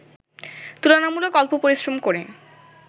তুলনামূলক অল্প পরিশ্রম করে